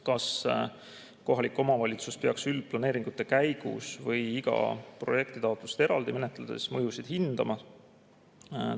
Kas kohalik omavalitsus peaks üldplaneeringute käigus või iga projektitaotlust eraldi menetledes mõjusid hindama?